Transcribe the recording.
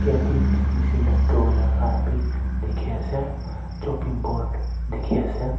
bench nishina drowaer khan bi dikhiase chopping board dikhiase.